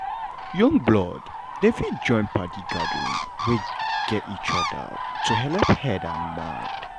young blood dem fit join padi gathering wey gat each other to helep head and mind.